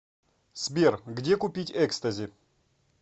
сбер где купить экстази